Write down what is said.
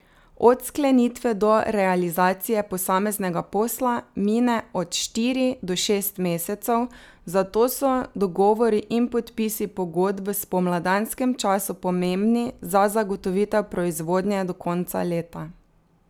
Od sklenitve do realizacije posameznega posla mine od štiri do šest mesecev, zato so dogovori in podpisi pogodb v spomladanskem času pomembni za zagotovitev proizvodnje do konca leta.